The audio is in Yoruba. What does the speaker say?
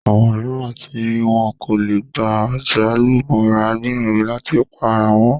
Àwọn mìíràn tí wọn kò lè gba àjálù mọ́ra gbìyànjú láti pa ara wọn